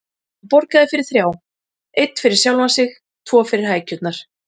Hann borgaði fyrir þrjá: Einn fyrir sjálfan sig, tvo fyrir hækjurnar.